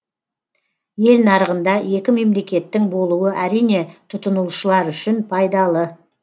ел нарығында екі мемлекеттің болуы әрине тұтынушылар үшін пайдалы